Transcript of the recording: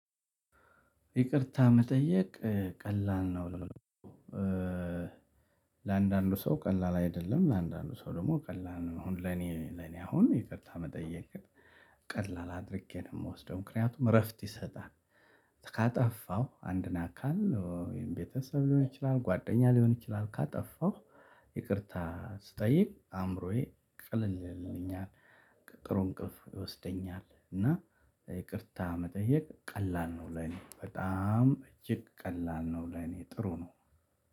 ይቅርታ መጠየቅ ቀላል ነው። ለአንዳንዱ ሰው ቀላል አይደለም ለአንዳንዱ ሰው ደግሞ ቀላል ነው። አሁን ለኔ ለኔ አሁን ይቅርታ መጠየቅን ቀላል አድርጌ ነው የምወስደው ምክንያቱም እረፍት ይሰጣል። ካጠፋው አንድን አካል ወይም ቤተሰብ ሊሆን ይችላል ጓደኛ ሊሆን ይችላል። ካጠፋሁ ይቅርታ ስጠይቅ አእምሮዬ ቀለል ይልልኛል። ጥሩ እንቅልፍ ይወስደኛል እና። ይቅርታ መጠየቅ ቀላል ነው ለኔ በጣም እጅግ ቀላል ነው ለኔ ጥሩ ነው።